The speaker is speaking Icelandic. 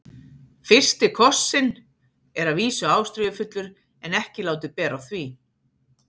FYRSTI KOSSINN er að vísu ástríðufullur en ekki látið bera á því.